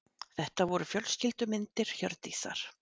Þetta voru fjölskyldumyndir Hjördísar.